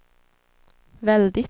väldigt